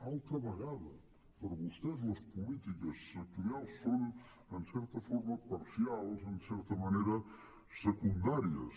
altra vegada per a vostès les polítiques sectorials són en certa forma parcials en certa manera secundàries